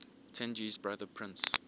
tenji's brother prince